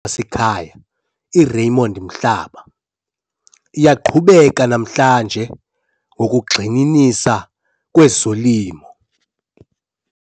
seKhaya iRaymond Mhlaba, iyaqhubeka namhlanje ngokugxininisa kwezolimo.